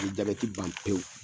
Bi jabɛti ban pewu.